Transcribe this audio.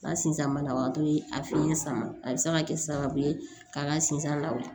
N ka sinsan banabagatɔ ye a fiɲɛ sama a bɛ se ka kɛ sababu ye ka n ka sinzan la